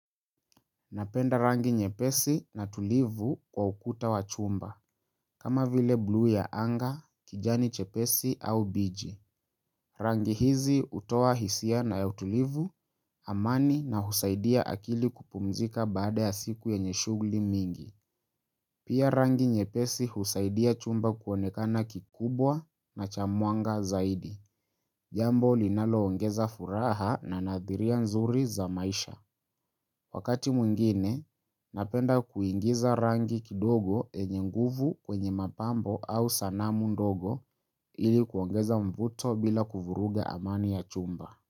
Napenda rangi nyepesi na tulivu kwa ukuta wa chumba, kama vile blu ya anga, kijani chepesi au biji. Rangi hizi utoa hisia na ya tulivu, amani na husaidia akili kupumzika baada ya siku yenye shugli mingi. Pia rangi nyepesi husaidia chumba kuonekana kikubwa na chamwanga zaidi. Jambo linaloongeza furaha na nadhiria nzuri za maisha. Wakati mwingine, napenda kuingiza rangi kidogo yenye nguvu kwenye mapambo au sanamu ndogo ili kuongeza mvuto bila kuvuruga amani ya chumba.